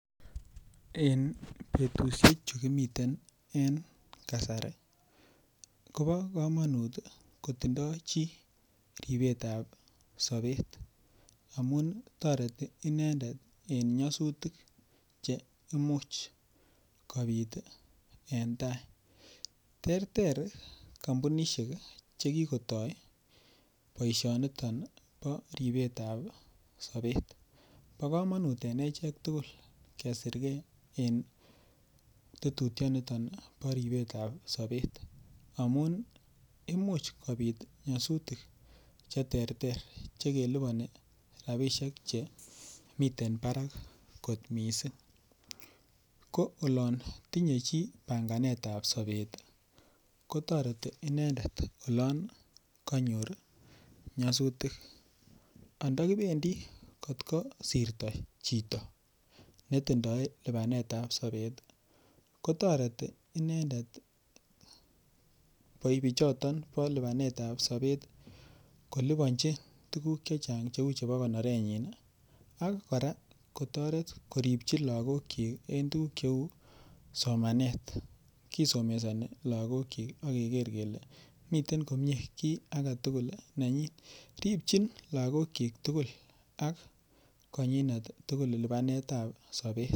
En betusiechu kimiten en kasari ko nyolu kotindoi chi ripetab sapet amun toreti inendet en nyasutik Che Imuch kobit en tai terter kampunisiek Che kigotoi boishanito bo ribetab sapet bo kamanut en achek tugul kesirge en tetutiet noton bo ribetab sobet amun imuch kobit nyasutik Che terter Che kelipani rabisiek Che miten barak kot mising ko olon tinye chi panganetab sobet kotoreti inendet oloon kanyor nyasutik anda kibendi kot kosirto chito ne tindoi lipanetap sapet kotoreti inendet bichoton bo lipanetap sapet kolipanji tuguk Che Chang cheu chebo konorenyin ak kora kotoret koripchi lagokyik en tuguk cheu somanet kisomesoni lagokyik ak keger kele miten komie ki age tugul nenyin ripchin lagokyik ak konyinet tugul lipanetap sapet